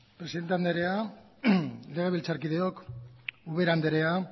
presidente andrea legebiltzarkideok ubera andrea